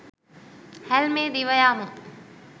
හැල්මේ දිව යමු.